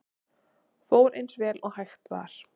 Fór eins vel og hægt var